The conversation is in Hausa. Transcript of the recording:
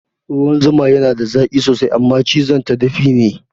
Ruwan zuma yana da zaki sosai Amma cizon ta dafi ne